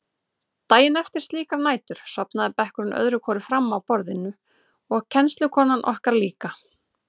Daginn eftir slíkar nætur sofnaði bekkurinn öðru hvoru fram á borðin og kennslukonan okkar líka.